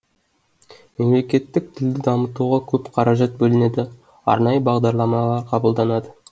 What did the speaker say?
мемлекеттік тілді дамытуға көп қаражат бөлінеді арнайы бағдарламалар қабылданады